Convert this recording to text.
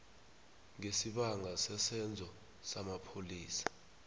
ngesibanga sesenzo samapholisa